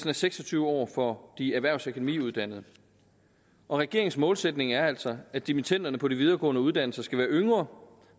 er seks og tyve år for de erhvervs og økonomiuddannede regeringens målsætning er altså at dimittenderne på de videregående uddannelser skal være yngre